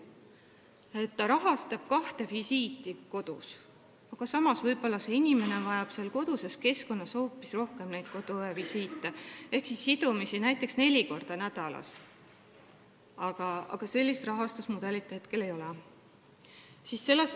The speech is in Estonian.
Haigekassa rahastab kahte koduvisiiti, aga samas võib inimene koduses keskkonnas vajada hoopis rohkem neid visiite, võib-olla vajab ta sidumist näiteks neli korda nädalas, aga sellist rahastusmudelit hetkel ei ole.